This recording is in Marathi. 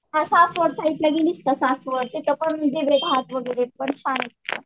हां सासवड साईडला गेली का सासवड तिथं पण